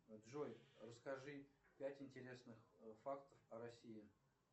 джой расскажи пять интересных фактов о россии